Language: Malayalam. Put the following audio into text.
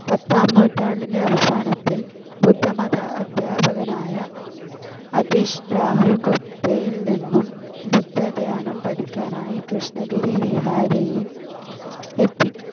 പത്താം നൂറ്റാണ്ടിൻ്റെ അവസാനത്തിൽ ബുദ്ധമത അധ്യാപകനായ അതിഷ് രാഹുൽഗുപ്തയിൽനിന്നും ബുദ്ധ ധ്യാനം പഠിക്കാനായി കൃഷ്ണഗിരി വിഹാരയിൽ എത്തി.